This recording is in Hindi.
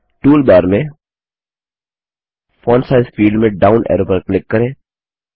टूलबार में फोंट साइज फील्ड में डाउन एरो पर क्लिक करें